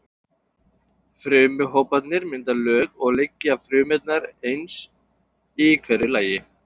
Frumuhóparnir mynda lög og liggja frumurnar eins í hverju lagi.